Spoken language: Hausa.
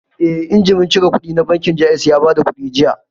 Eh, injimin cire kuɗi na bankin Jaiz ya bada kuɗi jiya